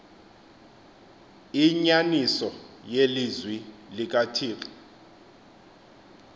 inyaniso yelizwi likathixo